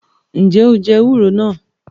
Njẹ o jẹ ewúro náà?